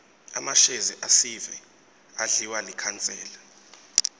emashezi esive adliwa likhansela